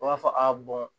U b'a fɔ a bɔn